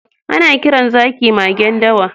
Ana kiran zaki magen dawa.